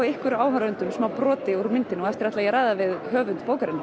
ykkur áhorfendum smá broti úr myndinni og á eftir ætla ég að ræða við höfund bókarinnar